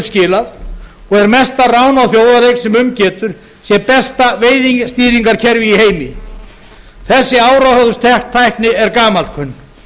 skilað og er mesta rán á þjóðareign sem um getur sé besta veiðistýringarkerfi í heimi þessi áróðurstækni er gamalkunn